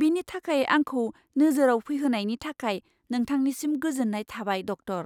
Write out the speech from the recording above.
बेनि थाखाय आंखौ नोजोराव फैहोनायनि थाखाय नोंथांनिसिम गोजोन्नाय थाबाय, डक्टर।